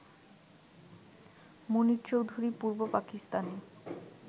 মুনীর চৌধুরী পূর্ব পাকিস্তানে